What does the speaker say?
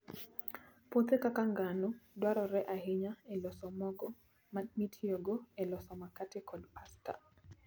Puothe kaka ngano dwarore ahinya e loso mogo mitiyogo e loso makate kod pasta.